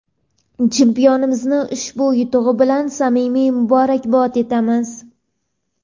Chempionimizni ushbu yutug‘i bilan samimiy muborakbod etamiz!.